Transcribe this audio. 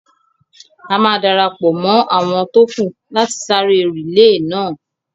A máa darapọ̀ mọ́ àwọn tó kù láti sáré rìílè náà